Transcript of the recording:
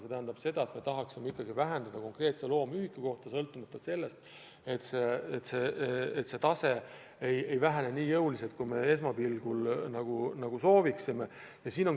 See tähendab seda, et me tahaksime vähendada saastet loomühiku kohta, aga see tase ei alane nii jõuliselt, kui me soovime.